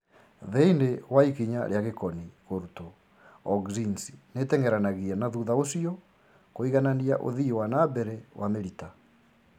Thĩinĩ wa ikinya rĩa gĩkoni kũrutwo, auxins nĩteng'eranagia na thutha ũcio kũiganania ũthii wana mbere wa mĩrita